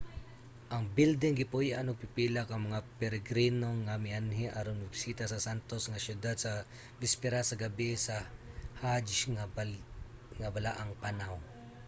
ang bilding gipuy-an og pipila ka mga peregrino nga mianhi aron mobisita sa santos nga syudad sa bisperas sa gabie sa hajj nga balaang panaw